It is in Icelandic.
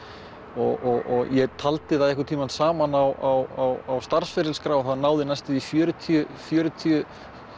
og ég taldi það einhvern tímann saman á starfsferilsskrá það náði næstum því fjörutíu fjörutíu